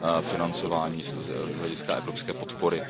financování z hlediska evropské podpory.